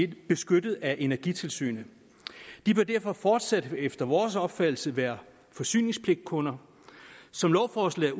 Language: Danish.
beskyttet af energitilsynet de bør derfor fortsat efter vores opfattelse være forsyningspligtkunder som lovforslaget